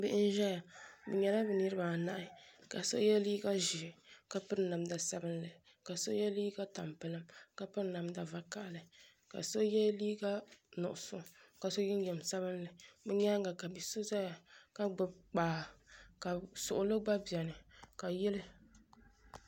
Bihi n zaya bɛ nyɛla bɛ niriba anahi la so ye liiga ʒee ka piri namda sabinli ka so ye liiga tampilim ka piri namda vakahali ka so ye liiga nuɣuso ka so jinjiɛm sabinli bɛ nyaanga ka bia so zaya ka gbibi kpaa ka suɣuli gba biɛni ka yili.